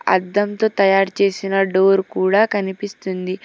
అద్దంతో తయారుచేసిన డోర్ కూడా కనిపిస్తుంది.